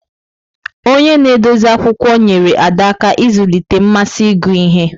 Onye na-edozi akwụkwọ nyeere Ada aka ịzụlite mmasị ịgụ ihe.